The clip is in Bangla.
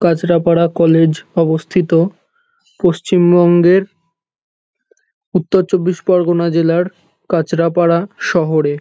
কাঁচরাপাড়া কলেজ অবস্থিত পশ্চিমবঙ্গের উত্তর চব্বিশ পরগনা জেলার কাঁচরাপাড়া শহরে।